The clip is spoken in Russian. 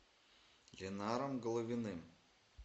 ленаром головиным